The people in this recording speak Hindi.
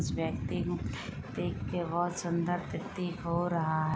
इस व्यक्ति को देखके बहौत सुन्दर प्रतीत हो रहा है।